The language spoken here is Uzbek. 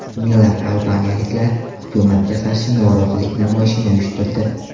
Minglab albaniyaliklar hukumatga qarshi norozilik namoyishini uyushtirdi.